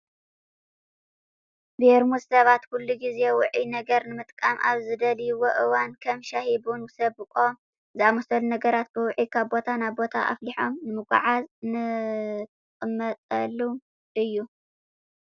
ቤርሙዝ ሰባት ኩሉ ግዘ ውዑይ ነገር ንምጥቃም ኣብ ዝደልይሉ እዋን ከም ሻሂ፣ ቡን፣ ስብቆ ዝኣመሰሉ ነገራት ብውዑይ ካብ ቦታ ናብ ቦታ ኣፍሊሖም ንምጉዕዓዝ እንቅምጠሉ እዩ።